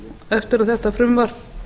eftir að þetta frumvarp